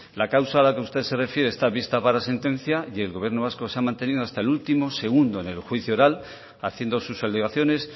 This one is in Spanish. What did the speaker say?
la causa a la que usted se refiere está vista para sentencia y el gobierno vasco se ha mantenido hasta el último segundo en el juicio oral haciendo sus alegaciones